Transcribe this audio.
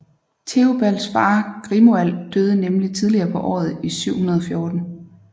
Teobalds far Grimoald døde nemlig tidligere på året i 714